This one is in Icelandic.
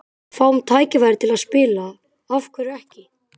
Ef við fáum tækifærið til að spila, af hverju ekki?